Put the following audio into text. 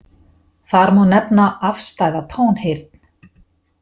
Þar má nefna afstæða tónheyrn.